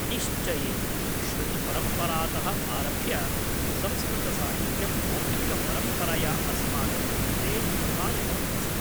निश्चयेन, श्रुतिपरम्परातः आरभ्य संस्कृतसाहित्यं मौखिकपरम्परया अस्माकं कृते प्रसारितम् अस्ति।